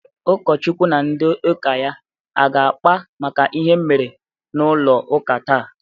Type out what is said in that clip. Ụkọchukwu na ndị ụka ya aga-akpa maka ihe m mere n'ụlọ ụka taa?